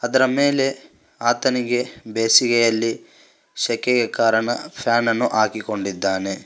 ಅದರ ಮೇಲೆ ಆತನಿಗೆ ಬೇಸಿಗೆಯಲ್ಲಿ ಶೆಕೆಗೆ ಕಾರಣ ಫ್ಯಾನ್ ನನ್ನು ಹಾಕಿಕೊಂಡಿದ್ದಾನೆ.